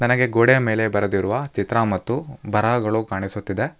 ನನಗೆ ಗೋಡೆಯ ಮೇಲೆ ಬರೆದಿರುವ ಚಿತ್ರ ಮತ್ತು ಬರಹಗಳು ಕಾಣಿಸುತ್ತಿದೆ.